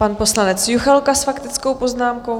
Pan poslanec Juchelka s faktickou poznámkou.